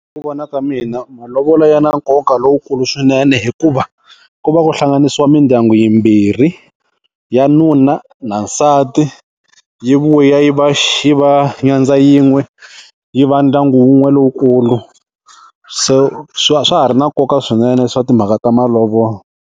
Ku vona ka mina malovolo ya na nkoka lowukulu swinene hikuva, ku va ku hlanganisiwa mindyangu yimbirhi. Ya nuna na nsati, yi vuya yi va yi va nyandza yin'we yi va ndyangu wun'we lowukulu. Se swa ha ri na nkoka swinene swa timhaka ta malovolo.